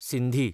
Sindhi